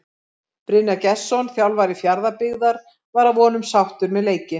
Brynjar Gestsson þjálfari Fjarðabyggðar var að vonum sáttur með leikinn.